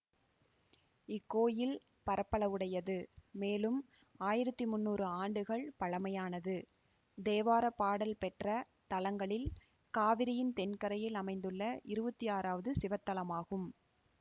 இக்கோயில் பரப்பளவுடையது மேலும் ஆயிரத்தி முன்னூறு ஆண்டுகள் பழமையானது தேவார பாடல் பெற்ற தலங்களில் காவிரியின் தென்கரையில் அமைந்துள்ள இருவத்தி ஆறாவது சிவத்தலமாகும்